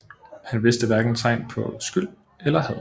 Han viste hverken tegn på skyld eller had